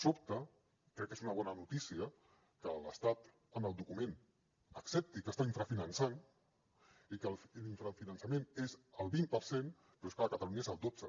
sobta crec que és una bona notícia que l’estat en el document accepti que està infrafinançant i que l’infrafinançament és el vint per cent però és clar a catalunya és el dotze